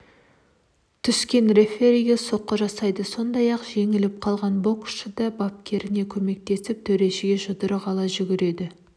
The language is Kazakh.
түскен рефериге соққы жасайды сондай-ақ жеңіліп қалған боксшы да бапкеріне көмектесіп төрешіге жұдырығын ала жүгіреді